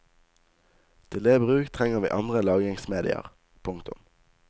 Til det bruk trenger vi andre lagringsmedier. punktum